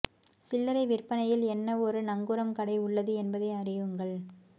சில்லறை விற்பனையில் என்ன ஒரு நங்கூரம் கடை உள்ளது என்பதை அறியுங்கள்